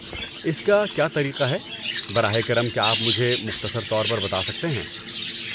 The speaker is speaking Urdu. اس کا کیا طریقہ ہے، براہ کرم کیا آپ مجھے مختصر طور پر بتا سکتے ہیں؟